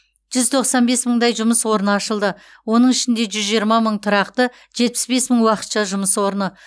жүз тоқсан бес мыңдай жұмыс орны ашылды оның ішінде жүз жиырма мың тұрақты жетпіс бес мың уақытша жұмыс орны